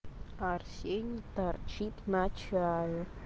арсений торчит на чае